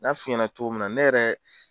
N'a f'i ɲɛna cogo min na, ne yɛrɛ.